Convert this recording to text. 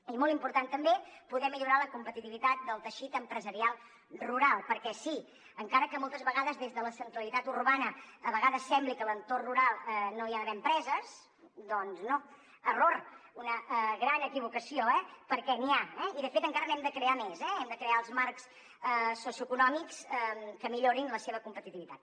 i molt important també poder millorar la competitivitat del teixit empresarial rural perquè sí encara que moltes vegades des de la centralitat urbana sembli que a l’entorn rural no hi ha d’haver empreses doncs no error una gran equivocació eh perquè n’hi ha i de fet encara n’hem de crear més hem de crear els marcs socioeconòmics que millorin la seva competitivitat